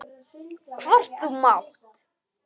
Hvort þú mátt!